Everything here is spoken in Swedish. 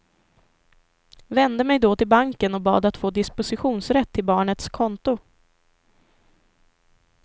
Vände mig då till banken och bad att få dispositionsrätt till barnets konto.